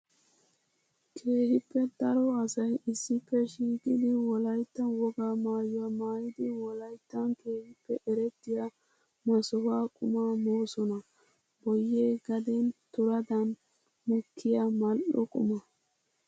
Keehippe daro asay issippe shiiqiddi wolaytta wogaa maayuwa maayiddi wolayttan keehippe erettiya masuha qumma moosonna. Boye gaden turadan mokiya mali'o qumma.